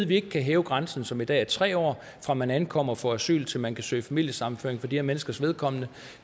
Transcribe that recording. vi ikke kan hæve grænsen som i dag er tre år fra man ankommer og får asyl til man kan søge familiesammenføring for de her menneskers vedkommende